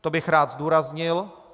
To bych rád zdůraznil.